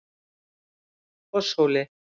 Fosshóli